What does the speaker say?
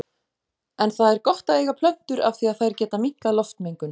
En það er gott að eiga plöntur af því að þær geta minnkað loftmengun.